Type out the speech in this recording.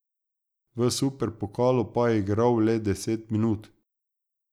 V superpokalu pa je igrala le deset minut.